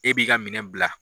E b'i ka minɛn bila